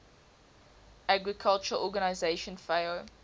agriculture organization fao